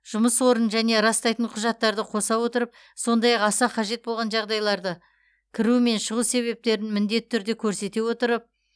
жұмыс орнын және растайтын құжаттарды қоса отырып сондай ақ аса қажет болған жағдайларда кіру және шығу себептерін міндетті түрде көрсете отырып